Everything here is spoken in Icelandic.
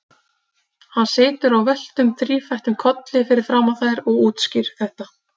Hann situr á völtum, þrífættum kolli fyrir framan þær og útskýrir þetta.